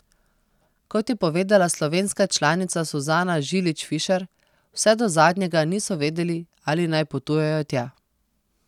Kot je povedala slovenska članica Suzana Žilič Fišer, vse do zadnjega niso vedeli, ali naj potujejo tja.